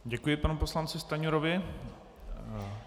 Děkuji panu poslanci Stanjurovi.